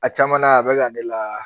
A caman na a bɛ ka ne la